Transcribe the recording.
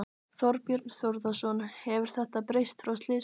Þorbjörn Þórðarson: Hefur þetta breyst frá slysinu?